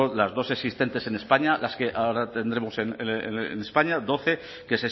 las dos existentes en españa las que ahora tendremos en españa doce que